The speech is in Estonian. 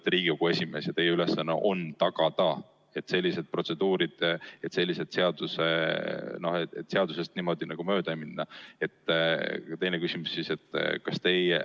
Te olete Riigikogu esimees ja teie ülesanne on tagada sellised protseduurid, et seadusest mööda ei minda.